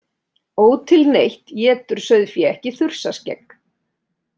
Ótilneytt étur sauðfé ekki þursaskegg.